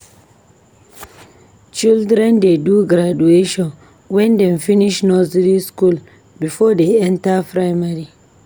Children dey do graduation wen dem finish nursey skool before dey enta primary.